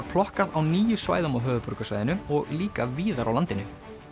plokkað á níu svæðum á höfuðborgarsvæðinu og líka víðar á landinu